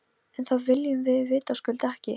En það viljum við vitaskuld ekki.